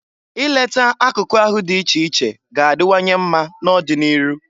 I leta akụkụ ahụ dị iche iche ga-adiwanye mma n'ọdị n'iru.